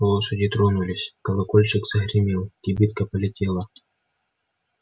лошади тронулись колокольчик загремел кибитка полетела